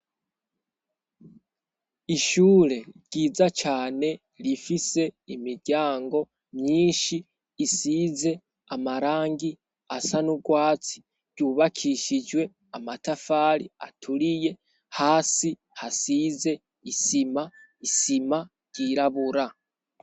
Ishure ryiza cane rifise imiryango myinshi isize amarangi asa niurwatsi ryubakishijwe amatafari aturiye hasi hasize isima isima ryirabura.